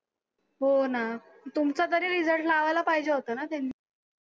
हो ना. तुमचा तरी result लावायला पाहिजे होता ना त्यांनी.